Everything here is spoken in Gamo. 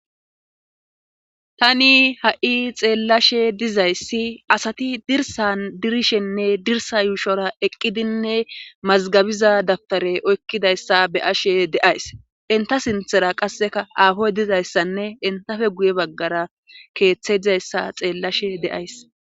Tani ha7i xeellashe dizayssi asati dirsan dirishenne dirsa yuushora eqqidinne mazgabiza dabpare oykkidayssa be ashe deays inta sinthera qasseka aafoy dizayssanne intafe guye baggara keeththeizayssa xeellashe de'ays.